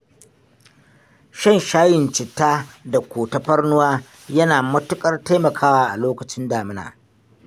Shan shayin citta da ko tafarnuwa yana matuƙar taimakawa a lokacin damina.